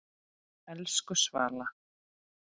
Elsku Svala.